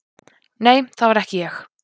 Nei, það var ekki ég.